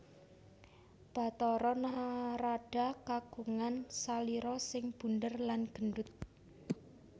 Bathara Narada kagungan salira sing bundér lan gendut